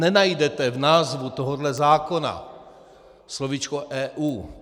Nenajdete v názvu tohohle zákona slovíčko EU.